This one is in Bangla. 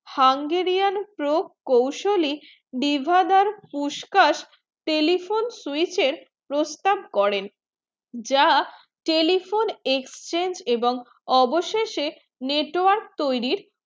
hungraian pro কৌশলে ডিভাদের পুষ্কর telephone এর প্রস্তাব করেন যা telephone exchange এবং অবশেষে network তয়রি